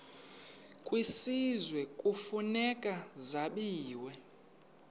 kwisizwe kufuneka zabiwe